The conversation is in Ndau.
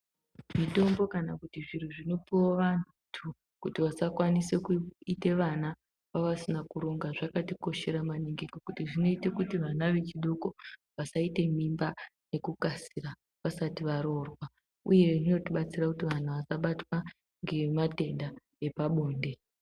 Mitombo kana zviro zvinoka kupuwa vantu kuti vasakwanise kuite vana vavasina kuronga zvakatikoshera maningi nekuti zvinoita kuti vana vechidoko vasaite mimba nekukasika vasati varoorwa uye zvinotibatsira kuti vantu vasabatwa ngematenda epabonde.